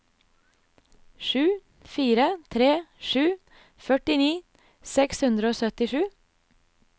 sju fire tre sju førtini seks hundre og syttisju